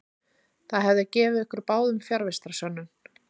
Það hefði gefið ykkur báðum fjarvistarsönnun.